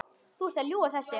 Þú ert að ljúga þessu!